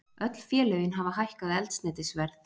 Öll félögin hafa hækkað eldsneytisverð